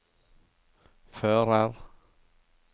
fører